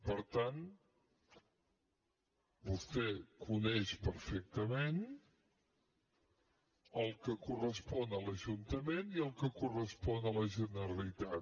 per tant vostè coneix perfectament el que correspon a l’ajuntament i el que correspon a la generalitat